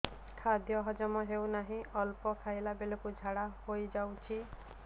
ଖାଦ୍ୟ ହଜମ ହେଉ ନାହିଁ ଅଳ୍ପ ଖାଇଲା ବେଳକୁ ଝାଡ଼ା ହୋଇଯାଉଛି